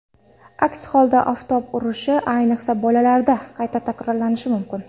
Aks holda oftob urishi, ayniqsa, bolalarda qayta takrorlanishi mumkin.